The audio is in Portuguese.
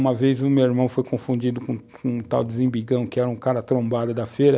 Uma vez o meu irmão foi confundido com um tal de Zimbigão, que era um cara trombado da feira,